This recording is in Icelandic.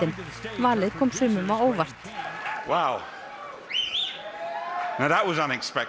valið kom sumum á óvart þá var